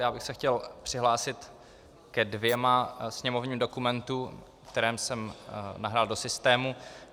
Já bych se chtěl přihlásit ke dvěma sněmovním dokumentům, které jsem nahrál do systému.